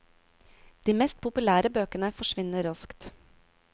De mest populære bøkene forsvinner raskt.